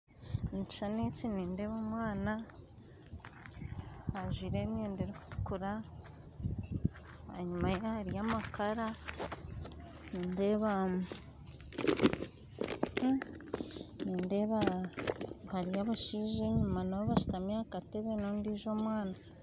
Omu kishushani eki nindeeba omwana ajwaire emyenda erikutukura enyuma ye hariyo amakara nindeeba nindeeba enyuma ye hariyo abashaija bashutami aha katebe nana omwana